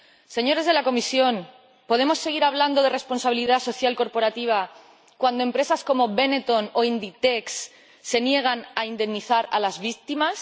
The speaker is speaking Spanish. Señores de la Comisión, ¿podemos seguir hablando de responsabilidad social corporativa cuando empresas como Benetton o Inditex se niegan a indemnizar a las víctimas?